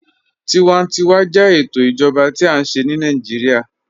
Tíwàntíwà jẹ ètò ìjọba tí a nṣẹ̀ ni Naijiria.